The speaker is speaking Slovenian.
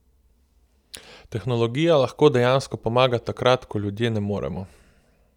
Tehnologija lahko dejansko pomaga takrat, ko ljudje ne moremo.